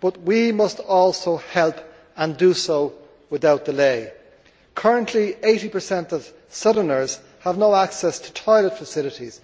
but we must also help, and do so without delay. Currently 80 of southerners have no access to toilet facilities.